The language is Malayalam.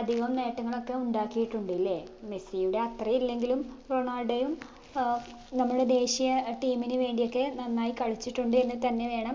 അധികം നേട്ടങ്ങളൊക്കെ ഉണ്ടാക്കിയിട്ടുണ്ട് ല്ലേ മെസ്സിയുടെ അത്ര ഇല്ലെങ്കിലും റൊണാൾഡോയും ഏർ നമ്മളെ ദേശീയ team ന് വേണ്ടിയൊക്കെ നന്നായി കളിച്ചിട്ടുണ്ട് എന്ന് തന്നെ വേണം